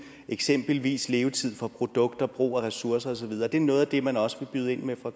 eksempelvis levetid på produkter brug af ressourcer og så videre er det noget af det man også vil byde ind med fra